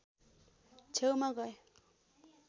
छेउमा गए